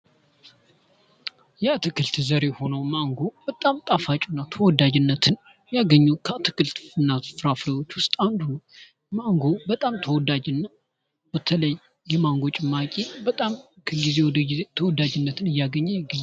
የአትክልት ዘር የሆነው ማንጎ በጣም ጣፋጭ ና ተወዳጅነትን ያገኘ ከአትክልትና ፍራፍሬ ዉጭ ውስጥ አንዱ ምንጎ በጣም ተወዳጅና በተለይ የማንጎ ጭማቂ በጣም ከጊዜ ወደ ጊዜ ተወዳጅነትን እያገኘ..